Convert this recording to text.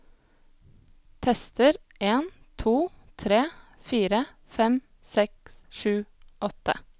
Tester en to tre fire fem seks sju åtte